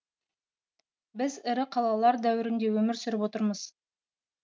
біз ірі қалалар дәуірінде өмір сүріп отырмыз